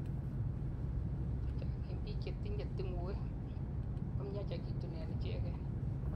chechang en biik chetinyei tingoek komiachekitun en icheken